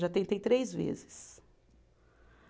Já tentei três vezes.